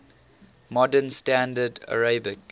modern standard arabic